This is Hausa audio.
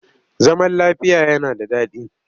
Zaman lafiya yana da daɗi